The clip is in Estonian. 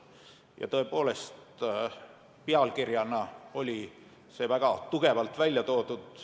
Tõepoolest, pealkirjana olid need väga tugevalt välja toodud.